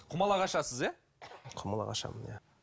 құмалақ ашасыз иә құмалақ ашамын иә